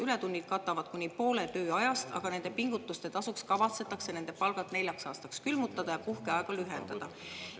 Ületunnid katavad kuni poole tööajast, aga nende pingutuste tasuks kavatsetakse nende palgad neljaks aastaks külmutada ja puhkeaega lühendada.